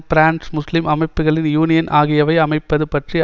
France முஸ்லீம் அமைப்புக்களின் union ஆகியவை அமைப்பது பற்றி